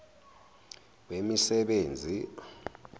wemisebenzi